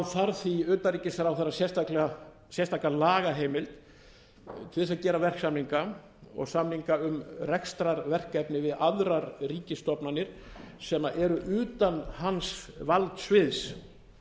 þarf því utanríkisráðherra sérstaka lagaheimild til þess að gera verksamninga og samninga um rekstrarverkefni við aðrar ríkisstofnanir sem eru utan hans valdsviðs það